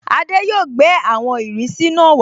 Adé yóò gbẹ́ àwọn ìrísí náà